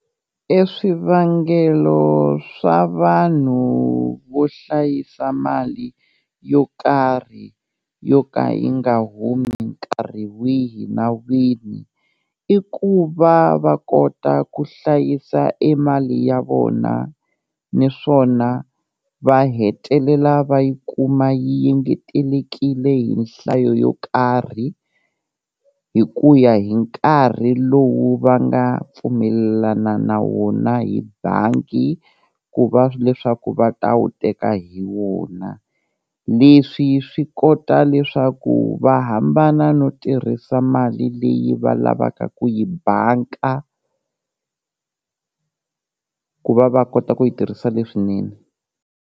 E swivangelo swa vanhu vo hlayisa mali yo karhi yo ka yi nga humi nkarhi wihi na wihi, i ku va va kota ku hlayisa e mali ya vona niswona va hetelela va yi kuma yi ngetelekile hi nhlayo yo karhi hi ku ya hi nkarhi lowu va nga pfumelelana na wona hi bangi ku va leswaku va ta wu teka hi wona, leswi swi kota leswaku va hambana no tirhisa mali leyi va lavaka ku yi banka ku va va kota ku yi tirhisa leswinene.